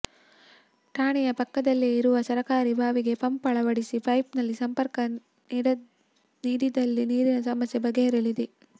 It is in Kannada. ಠಾಣೆಯ ಪಕ್ಕದಲ್ಲೇ ಇರುವ ಸರಕಾರಿ ಬಾವಿಗೆ ಪಂಪ್ ಅಳವಡಿಸಿ ಪೈಪ್ಲೈನ್ ಸಂಪರ್ಕ ನೀಡಿದಲ್ಲಿ ನೀರಿನ ಸಮಸ್ಯೆ ಬಗೆಹರಿಯಲಿದೆ